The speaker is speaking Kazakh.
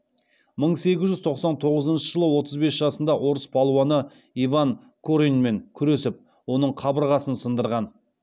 мың сегіз жүз тоқсан тоғызыншы жылы отыз бес жасында орыс палуаны иван кореньмен күресіп оның қабырғасын сындырған